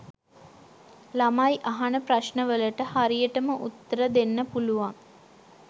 ළමයි අහන ප්‍රශ්න වලට හරියටම උත්තර දෙන්න පුළුවන්